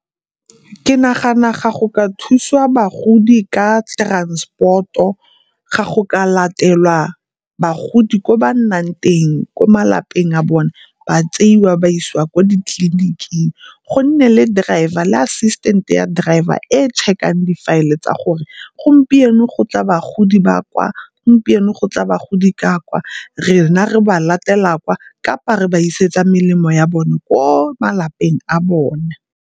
Ke nagana ga go ka thuswa bagodi ka transport-o, ga go ka latelwa bagodi ko ba nnang teng ko malapeng a bone, ba tseiwa ba isiwa ko ditleliniking. Go nne le driver le assistant-e ya driver e e check-ang difaele tsa gore gompieno go tla bagodi ba kwa, gompieno go tla bagodi ka kwa. Re na re ba latela kwa, kapa re ba isetse melemo ya bone ko malapeng a bone.